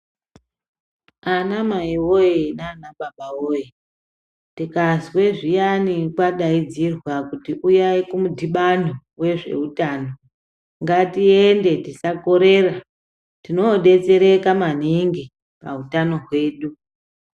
Ana mai voye nana baba voye tikazwe zviyani kwadaidzirwa kuti uyai kumudhibano vezveutano. Ngatiende tisa korera tinobetsereka maningi pautano hwedu.